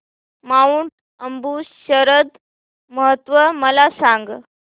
Mount Abu शरद महोत्सव मला सांग